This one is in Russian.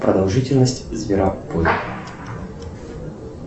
продолжительность зверопой